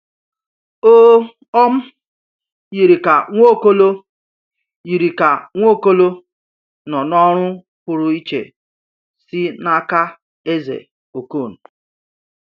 O um yiri ka Nwaokolo yiri ka Nwaokolo nọ n’ọrụ pụrụ iche si n’aka Eze Okon.